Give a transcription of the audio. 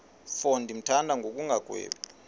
mfo ndimthanda ngokungagwebi